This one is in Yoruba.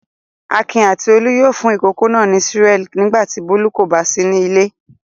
Akin àti Olú yóò fún ìkókó náà ní Cerelac nígbà tí Bólú kò bá sí nílé.